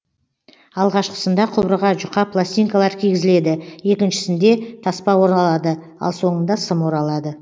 алғашқысында құбырға жұқа пластинкалар кигізіледі екіншісінде таспа оралады ал соңында сым оралады